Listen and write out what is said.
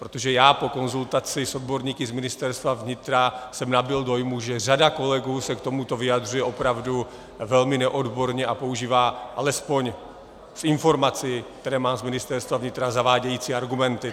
Protože já po konzultaci s odborníky z Ministerstva vnitra jsem nabyl dojmu, že řada kolegů se k tomuto vyjadřuje opravdu velmi neodborně a používá, alespoň z informací, které mám z Ministerstva vnitra, zavádějící argumenty.